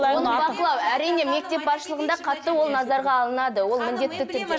оны бақылау әрине мектеп басшылығында қатты ол назарға алынады ол міндетті түрде